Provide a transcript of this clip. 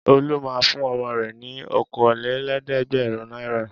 Olú máa ń fún ọmọ rẹ̀ ní okòólé lẹ́ẹ̀dẹ́gbẹ̀rún náírà.